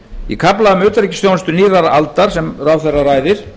í kafla um utanríkisþjónustu nýrrar aldar sem ráðherra ræðir